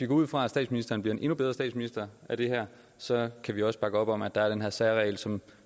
går ud fra at statsministeren bliver en endnu bedre statsminister af det her så kan vi også bakke op om at der er den her særregel som